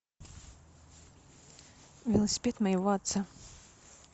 велосипед моего отца